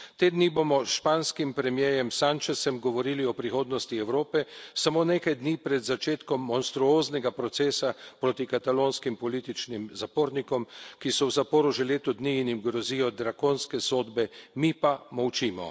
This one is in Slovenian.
Te dni bomo s španskim premierjem Sánchezom govorili o prihodnosti Evrope, samo nekaj dni pred začetkom monstruoznega procesa proti katalonskim političnim zapornikom, ki so v zaporu že leto dni in jim grozijo drakonske sodbe, mi pa molčimo.